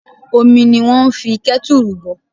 Omi ni wón ń fi kẹ́tùrù bọ̀